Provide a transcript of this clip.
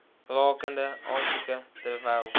rakende aansoeke terwyl